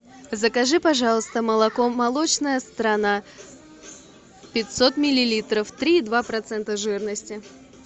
закажи пожалуйста молоко молочная страна пятьсот миллилитров три и два процента жирности